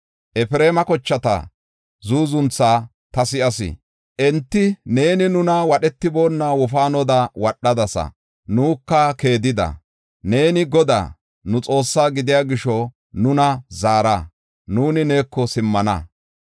“Efreema kochata zuuzuntha ta si7as. Enti, ‘Neeni nuna wadhetiboonna wofaanoda wadhadasa; nuka keedida. Neeni Godaa, nu Xoossaa gidiya gisho nuna zaara; nuuni neeko simmana.